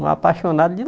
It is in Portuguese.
Um apaixonado de